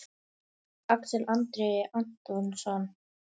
Axel Andri Antonsson